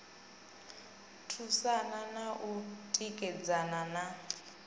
thusana na u tikedzana na